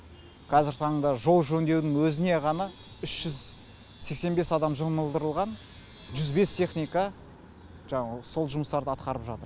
қазіргі таңда жол жөндеудің өзіне ғана үш жүз сексен бес адам жұмылдырылған жүз бес техника жаңағы сол жұмыстарды атқарып жатыр